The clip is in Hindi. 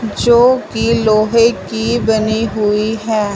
जो कि लोहे की बनी हुई हैं।